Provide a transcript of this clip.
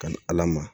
Kanni ala ma